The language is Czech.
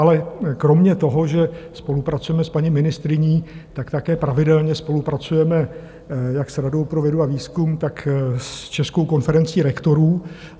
Ale kromě toho, že spolupracujeme s paní ministryní, tak také pravidelně spolupracujeme jak s Radou pro vědu a výzkum, tak s Českou konferencí rektorů.